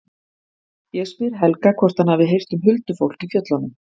Ég spyr Helga hvort hann hafi heyrt um huldufólk í fjöllunum.